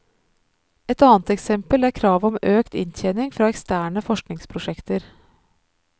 Et annet eksempel er kravet om økt inntjening fra eksterne forskningsprosjekter.